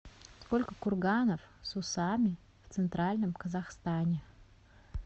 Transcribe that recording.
сколько курганов с усами в центральном казахстане